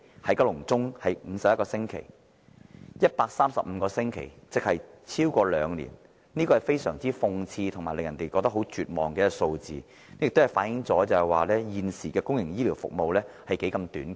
市民要輪候135個星期，即超過兩年，這是非常諷刺及令人絕望的數字，更反映現時公營醫療服務何其短缺。